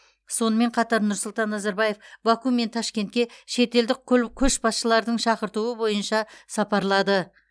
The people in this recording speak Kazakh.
сонымен қатар нұрсұлтан назарбаев баку мен ташкентке шетелдік көл көшбасшылардың шақыртуы бойынша сапарлады